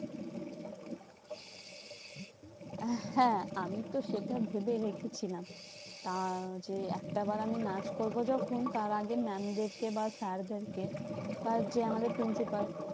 আহ হ্যাঁ আমিতো সেটা ভেবে রেখেছিলাম। আহ যে একটা বার আমি নাচ করবো যখন, তার আগে mam দেরকে বা sir দেরকে বা যে আমাদের principal